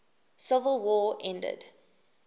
civil war ended